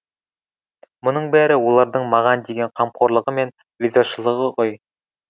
мұның бәрі олардың маған деген қамқорлығы мен ризашылығы ғой